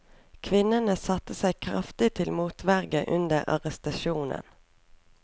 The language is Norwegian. Kvinnen satte seg kraftig til motverge under arrestasjonen.